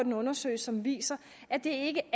en undersøgelse som viser at det ikke